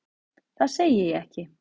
Það segi ég ekki.